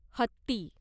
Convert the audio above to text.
हत्ती